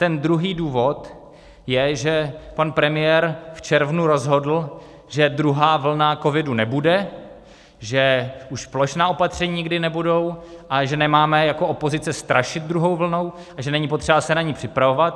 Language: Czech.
Ten druhý důvod je, že pan premiér v červnu rozhodl, že druhá vlna covidu nebude, že už plošná opatření nikdy nebudou a že nemáme jako opozice strašit druhou vlnou a že není potřeba se na ni připravovat.